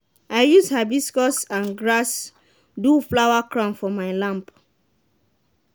i use hibiscus and grass do flower crown for my lamb.